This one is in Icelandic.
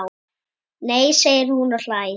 Nei segir hún og hlær.